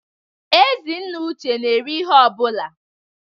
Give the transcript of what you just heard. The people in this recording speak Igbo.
Ezi nna Uche n'eri ihe ọ bụla.